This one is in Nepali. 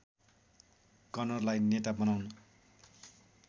कनरलाई नेता बनाउन